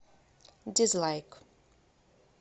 дизлайк